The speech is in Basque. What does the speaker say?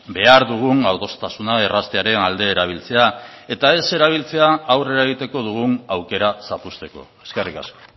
behar dugun adostasuna erraztearen alde erabiltzea eta ez erabiltzea aurrera egiteko dugun aukera zapuzteko eskerrik asko